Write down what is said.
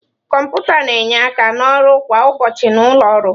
Kọmputa na-enye aka n'ọrụ kwa ụbọchị na ụlọ ọrụ.